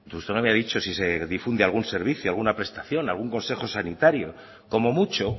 usted no me ha dicho si se difunde algún servicio alguna prestación algún consejo sanitario como mucho